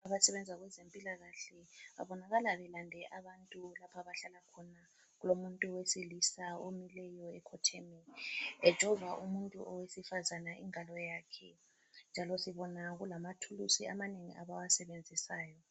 Abasebenza kwezempilakahle babonakala belande abantu lapha abahlala khona, kulomuntu owesilisa omileyo ekhotheme, ejova umuntu owesifazana ingalo yakhe njalo sibona kulamathuluzi amanengi abawasebenzisayo.